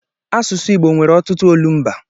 Asụsụ Igbo nwere ọtụtụ olumba.